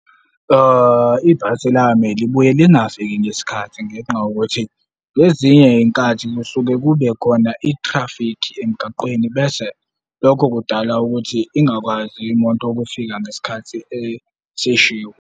Ibhasi lami libuye lingafiki ngesikhathi ngenxa yokuthi ngezinye iy'nkathi kusuke kube khona i-traffic emgaqweni bese lokho kudala ukuthi ingakwazi imoto ukufika ngesikhathi esishiwo.